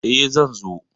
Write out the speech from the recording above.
E, zan zo.